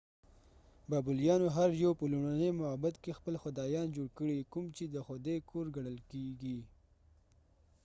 بابلیانو هر یو په لومړنۍ معبد کې خپل خدایان جوړ کړي کوم چې د خدای کور ګڼل کېږي